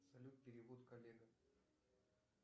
салют перевод коллега